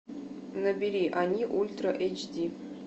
набери они ультра эйч ди